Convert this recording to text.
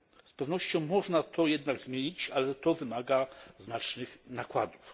Z pewnością można to jednak zmienić, ale to wymaga znacznych nakładów.